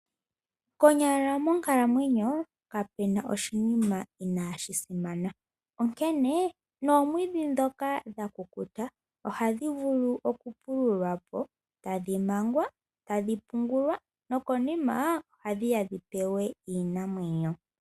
Konyala monkalamwenyo kapena oshinima inaashi simana. Onkene omwiidhi ndhoka dha kukuta, ohadhi vulu okupululwa po, tadhi mangwa, tadhi pungulwa, nokonima ohadhiya dhi pewe iinamwenyo.